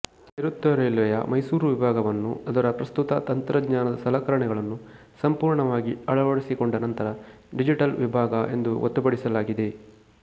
ನೈಋತ್ಯ ರೈಲ್ವೆಯ ಮೈಸೂರು ವಿಭಾಗವನ್ನು ಅದರ ಪ್ರಸ್ತುತ ತಂತ್ರಜ್ಞಾನದ ಸಲಕರಣೆಗಳನ್ನು ಸಂಪೂರ್ಣವಾಗಿ ಅಳವಡಿಸಿಕೊಂಡ ನಂತರ ಡಿಜಿಟಲ್ ವಿಭಾಗ ಎಂದು ಗೊತ್ತುಪಡಿಸಲಾಗಿದೆ